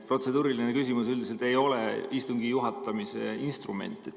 Protseduuriline küsimus üldiselt ei ole istungi juhatamise instrument.